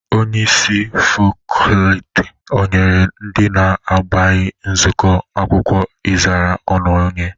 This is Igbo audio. Onyeisi fakọltị o nyere ndị na abịaghi nzụkọ akwụkwọ ịzara ọnụ onye?